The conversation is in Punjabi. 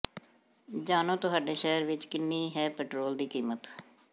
ਜਾਣੋ ਤੁਹਾਡੇ ਸ਼ਹਿਰ ਵਿੱਚ ਕਿੰਨੀ ਹੈ ਪੈਟਰੋਲ ਦੀ ਕੀਮਤ